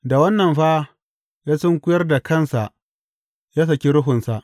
Da wannan fa, ya sunkuyar da kansa ya saki ruhunsa.